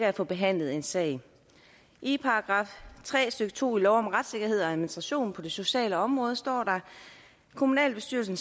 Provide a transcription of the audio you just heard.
at få behandlet en sag i § tre stykke to i lov om retssikkerhed og administration på det sociale område står der at kommunalbestyrelsen